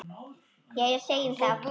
Jæja, segjum það.